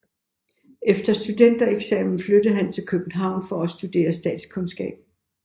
Efter studentereksamen flyttede han til København for at studere statskundskab